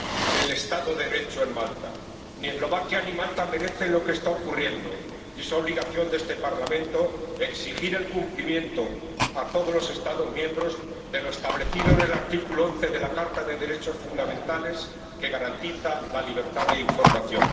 del Estado de Derecho en Malta. Ni Eslovaquia ni Malta merecen lo que está ocurriendo, y es obligación de este Parlamento exigir el cumplimiento a todos los Estados miembros de lo establecido en el artículo 11 de la Carta de los Derechos Fundamentales, que garantiza la libertad de información.